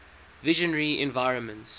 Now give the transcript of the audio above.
visionary environments